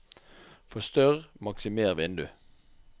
forstørr/maksimer vindu